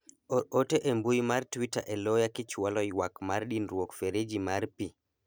or ote e mbui mar twita e loya kichwalo ywak mar dinruok fereji mar pii